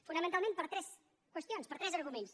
fonamentalment per tres qüestions per tres arguments